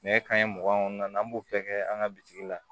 Nɛgɛ kanɲɛ mugan kɔnɔna na an b'o bɛɛ kɛ an ka bitigi la